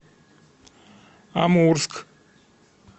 амурск